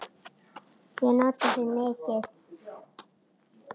Ég nota þau mikið.